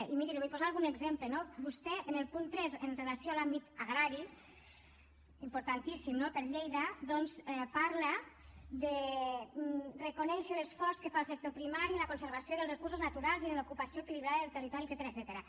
i miri li vull posar algun exemple no vostè en el punt tres amb relació a l’àmbit agrari importantíssim no per a lleida doncs parla reconeix l’esforç que fa el sector primari en la conservació dels recursos naturals i en l’ocupació equilibrada del territori etcètera